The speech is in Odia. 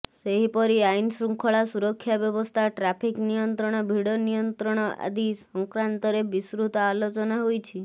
ସେହିପରି ଆଇନ୍ ଶୃଙ୍ଖଳା ସୁରକ୍ଷା ବ୍ରବସ୍ଥା ଟ୍ରାଫିକ୍ ନିୟନ୍ତ୍ରଣ ଭିଡ ନିୟନ୍ତ୍ରଣ ଆଦି ସଂକ୍ରାଂନ୍ତରେ ବିସୃତ ଆଲୋଚନା ହୋଇଛି